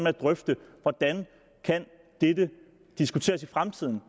at drøfte hvordan det kan diskuteres i fremtiden